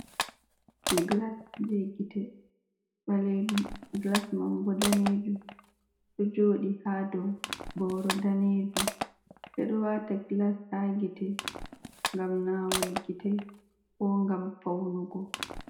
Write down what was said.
Gilas jee gite ɓaleejum, gilas man bo daneejum, ɗo jooɗi ha dow booro daneejum. Ɓe ɗo waata gilas ha gite, gam naawol gite, ko gam paunugo.